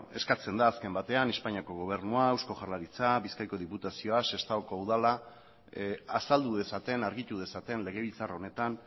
eskatzen da azken batean espainiako gobernua eusko jaurlaritza bizkaiko diputazioa sestaoko udala azaldu dezaten argitu dezaten legebiltzar honetan